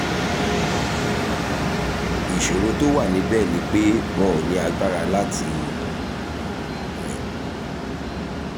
ìṣòro tó wà níbẹ̀ ni pé wọn ò ní agbára láti rìn